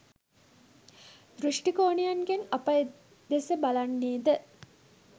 දෘෂ්ටි කෝණයන්ගෙන් අප එදෙස බලන්නේද?